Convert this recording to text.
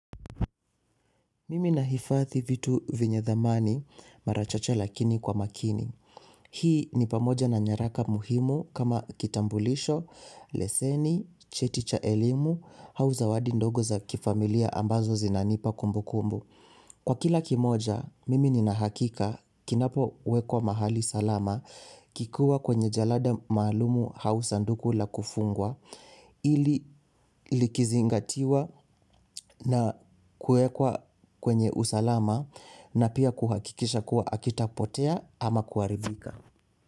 Mimi nahifadhi vitu venye dhamani, mara chache lakini kwa makini. Hii ni pamoja na nyaraka muhimu kama kitambulisho, leseni, cheti cha elimu au zawadi ndogo za kifamilia ambazo zinanipa kumbukumbu. Kwa kila kimoja, mimi nina hakika kinapowekwa mahali salama, kikuwa kwenye jalada maalumu au sanduku la kufungwa, hili likizingatiwa na kuekwa kwenye usalama na pia kuhakikisha kuwa hakitapotea ama kuharibika.